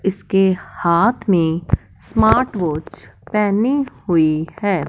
इसके हाथ में स्मार्ट वॉच पहनी हुई है।